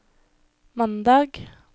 mandag